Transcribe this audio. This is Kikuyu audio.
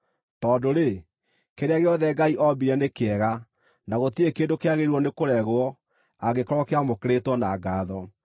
Tondũ-rĩ, kĩrĩa gĩothe Ngai oombire nĩ kĩega, na gũtirĩ kĩndũ kĩagĩrĩirwo nĩkũregwo angĩkorwo kĩamũkĩrĩtwo na ngaatho,